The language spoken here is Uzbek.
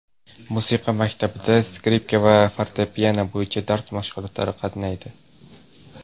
Musiqa maktabida skripka va fortepiano bo‘yicha dars mashg‘ulotlariga qatnaydi.